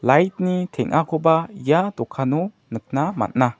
teng·akoba ia dokano nikna man·a.